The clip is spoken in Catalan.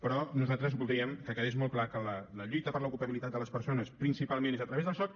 però nosaltres voldríem que quedés molt clar que la lluita per l’ocupabilitat de les persones principalment és a través del soc